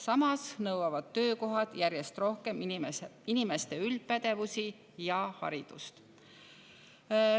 Samas nõuavad töökohad inimestelt järjest rohkem üldpädevust ja haridust.